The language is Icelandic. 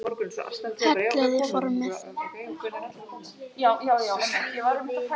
Hellið í formið.